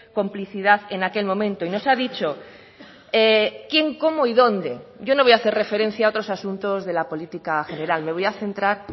complicidad en aquel momento y nos ha dicho quién cómo y dónde yo no voy a hacer referencia a otros asuntos de la política general me voy a centrar